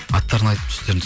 аттарын айтып